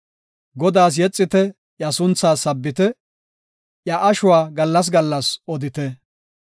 Godaas yexite; iya suntha sabbite; Iya ashuwa gallas gallas odite.